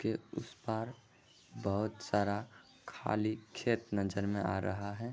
के उस पार बहुत सारा खाली खेत नजर में आ रहा है।